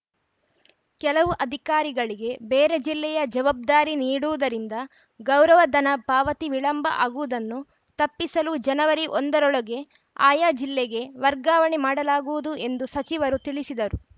ಕೆಲವು ಅಧಿಕಾರಿಗಳಿಗೆ ಬೇರೆ ಜಿಲ್ಲೆಯ ಜವಾಬ್ದಾರಿ ನೀಡುವುದರಿಂದ ಗೌರವಧನ ಪಾವತಿ ವಿಳಂಬ ಆಗುವುದನ್ನು ತಪ್ಪಿಸಲು ಜನವರಿ ಒಂದರೊಳಗೆ ಆಯಾ ಜಿಲ್ಲೆಗೆ ವರ್ಗಾವಣೆ ಮಾಡಲಾಗುವುದು ಎಂದು ಸಚಿವರು ತಿಳಿಸಿದರು